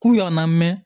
K'u yannɛn